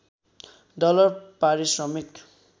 dollar पारिश्रमिक